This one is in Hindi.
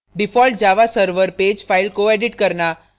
default java server pages file को एडिट करना